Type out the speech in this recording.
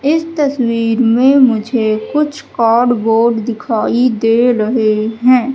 इस तस्वीर में मुझे कुछ कार्डबोर्ड दिखाई दे रहे हैं।